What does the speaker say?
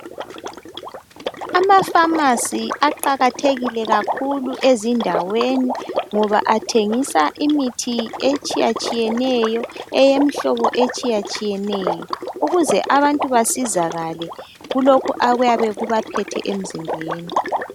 Amafamasi aqakathekile kakhulu ezindaweni ngoba athengisa imithi etshiyatshiyeneyo. Eyemhlobo etshiyatshiyeneyo, ukuze abantu basizakale kulokhu okuyabe kubaphethe emzimbeni.